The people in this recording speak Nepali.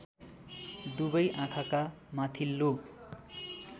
दुबै आँखाका माथिल्लो